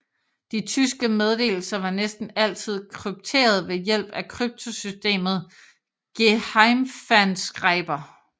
De tyske meddelelser var næsten altid krypteret ved hjælp af kryptosystemet Geheimfernschreiber